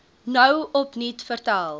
nou opnuut vertel